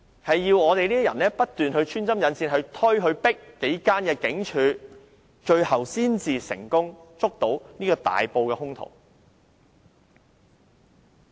唯有我們這種人不斷穿針引線，催迫幾間警署，最後才能成功捉拿這個大埔兇徒。